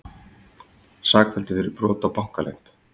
Sakfelldur fyrir brot á bankaleynd